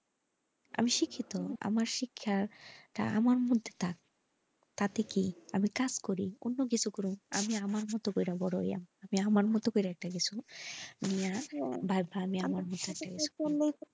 আমি শিক্ষিত আমার শিক্ষাটা আমার মধ্যে থাক তা তাতে কি আমি কাজ করি অন্য কিছু করি আমি আমার মতো করে বোরো হলাম আমার মতো করে একটা কিছু ভাবাও এমন একটা কিছু ,